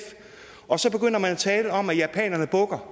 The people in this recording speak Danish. og så begynder man at tale om at japanerne bukker